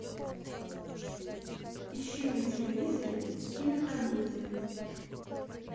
ищи на телевизоре кинокомедия